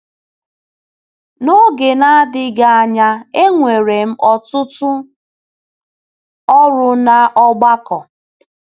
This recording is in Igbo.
N’oge na-adịghị anya, enwere m ọtụtụ ọrụ n’ọgbakọ.